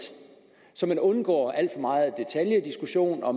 så man undgår al for megen detaljediskussion og